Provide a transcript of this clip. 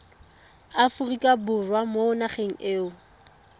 aforika borwa mo nageng eo